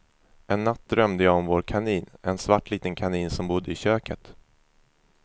En natt drömde jag om vår kanin, en svart liten kanin som bodde i köket.